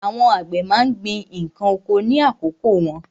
Àwọn àgbẹ̀ má ń gbin ǹkan oko ní àkókò wọn.